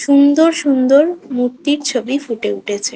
সুন্দর সুন্দর মূর্তির ছবি ফুটে উঠেছে।